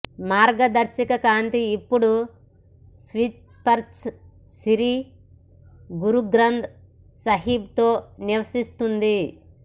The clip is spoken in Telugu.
మార్గదర్శక కాంతి ఇప్పుడు స్క్రిప్చర్ సిరి గురు గ్రంథ్ సాహిబ్ తో నివసిస్తుంది